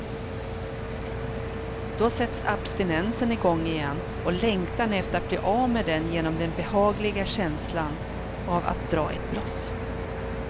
Då sätts abstinensen igång igen och längtan efter att bli av med den genom den behagliga känslan av att dra ett bloss.